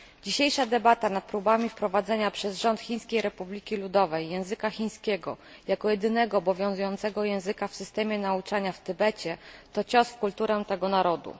Dzisiejsza debata nad próbami wprowadzenia przez rząd Chińskiej Republiki Ludowej języka chińskiego jako jedynego obowiązującego języka w systemie nauczania w Tybecie to cios w kulturę tego narodu.